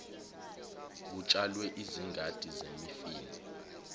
kutshalwe izingadi zemifino